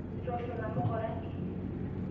Itoosho namuka orangi?